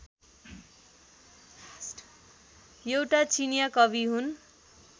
एउटा चिनियाँ कवि हुन्